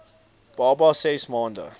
baba ses maande